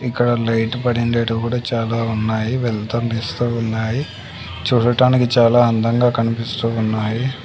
ఇక్కడ లైట్ పడిండేటివి కూడా చాలా ఉన్నాయి వెలుతురునిస్తూ ఉన్నాయి చూడటానికి చాలా అందంగా కనిపిస్తూ ఉన్నాయి.